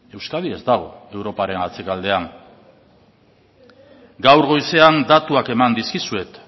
euskadi ez dago europaren atzealdean gaur goizean datuak eman dizkizuet